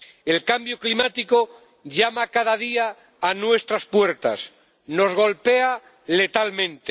El cambio climático llama cada día a nuestras puertas, nos golpea letalmente.